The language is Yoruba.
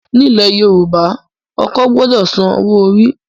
Ní ilẹ̀ Yorùbá, ọkọ gbọdọ san owó orí.